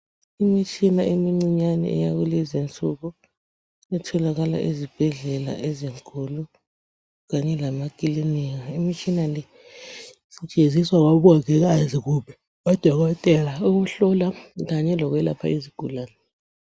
Imitshina emincinyane eyakulezi nsuku etholakala ezibhedlela ezinkulu kanye lemakilinika, imitshina le isetshenziswa ngomongikazi kumbe odokotela ukuhlola kanye lokwelapha izigulane.